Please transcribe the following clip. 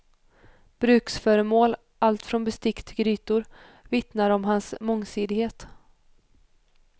Bruksföremål, allt från bestick till grytor vittnar om hans mångsidighet.